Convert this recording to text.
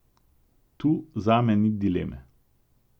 Tu zame ni dileme.